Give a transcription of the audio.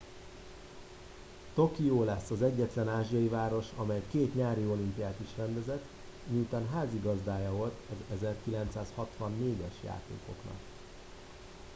tokió lesz az egyetlen ázsiai város amely két nyári olimpiát is rendezett miután házigazdája volt az 1964 es játékoknak